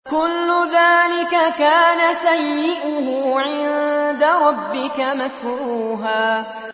كُلُّ ذَٰلِكَ كَانَ سَيِّئُهُ عِندَ رَبِّكَ مَكْرُوهًا